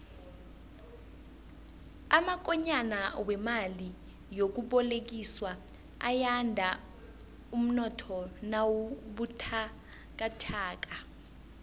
amakonyana wemali yokubolekiswa ayanda umnotho nawubuthakathaka